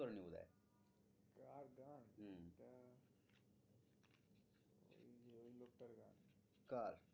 কার?